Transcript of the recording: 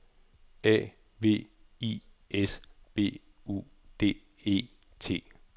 A V I S B U D E T